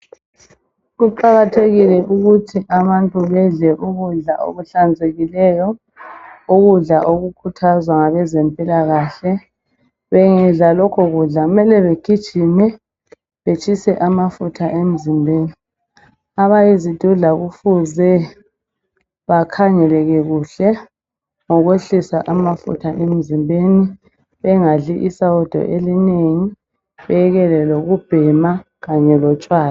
Kuqakathekile ukuthi abantu bedle ukudla okuhlanzekileyo. Ukudla okukhuthazwa ngabezempilakahle bengadla lokho kudla kumele bagijime betshise amafutha emzimbeni. Abayizidudla kufuze bakhangeleke kuhle ngokwehlisa amafutha emzimbeni bengadli isawudo elinengi, bekele lokubhema kanye lotshwala.